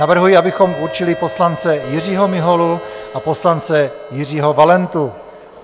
Navrhuji, abychom určili poslance Jiřího Miholu a poslance Jiřího Valentu.